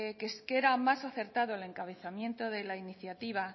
que era más acertado el encabezamiento de la iniciativa